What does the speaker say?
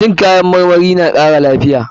Cin kayan marmari na kara lafiya.